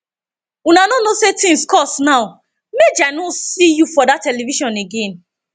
una no know say things cost now maje i no see you for dat television again